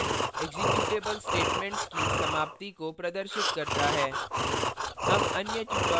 return statement executable statements की समाप्ति को प्रदर्शित करता है